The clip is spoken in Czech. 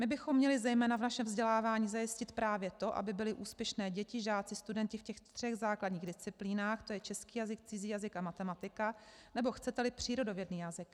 My bychom měli zejména v našem vzdělávání zajistit právě to, aby byly úspěšné děti, žáci, studenti v těch třech základních disciplínách, tj. český jazyk, cizí jazyk a matematika, nebo chcete-li přírodovědný jazyk.